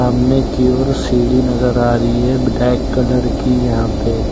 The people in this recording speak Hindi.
सामने की ओर सीढ़ी नजर आ रही है ब्लैक कलर की यहां पे।